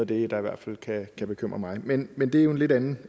det der i hvert fald kan bekymre mig men men det er jo en lidt anden